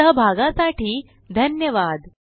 सहभागासाठी धन्यवाद